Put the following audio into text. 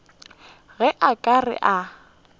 ge a ka re a